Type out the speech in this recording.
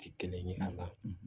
Ti kelen ye a la